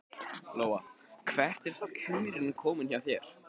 Lóa: Hvert eru þá kjörin komin hjá þér?